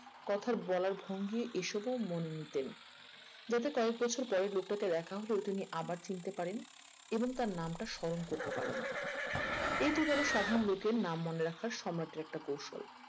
কথার বলার ভঙ্গি এসবও মনে নিতেন যাতে কয়েক বছর পরে লোকটাকে দেখা হলে ওটা নিয়ে আবার চিনতে পারেন এবং তার নামটা স্মরণ করতে পারেন এই দুদলের সাধারণ লোকের নাম মনে রাখা সম্রাটের একটা কৌশল